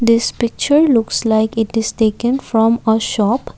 this picture looks like it is taken from uh shop.